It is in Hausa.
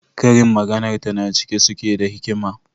Karin maganarta na cike suke da hikima.